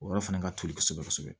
O yɔrɔ fana ka toli kosɛbɛ kosɛbɛ